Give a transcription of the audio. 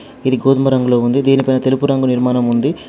ఇది గోధుమ రంగులో ఉంది దీని పైన తెలుపు రంగు నిర్మాణం ఉంది.